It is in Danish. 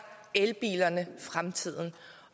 elbilerne fremtiden